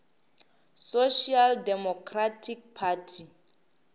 social democratic party